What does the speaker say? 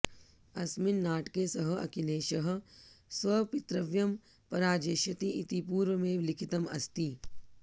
अस्मिन् नाटके सः अखिलेशः स्वपितृव्यं पराजेष्यति इति पूर्वमेव लिखितम् अस्ति